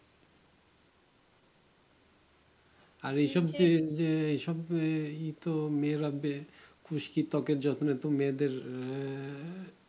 আর এইসব যে যে এইসব যে ই তো মে রব্বে খুশকি ত্বকের যত্নে তো মেয়েদের আহ